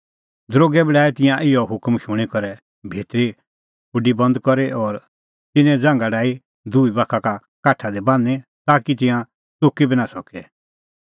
दरोगै बी डाहै तिंयां इहअ हुकम शूणीं करै भितरली खुडी बंद करी और तिन्नें ज़ांघा डाही दुही बाखा काठा दी बान्हीं ताकि तिंयां च़ुकी बी नां सके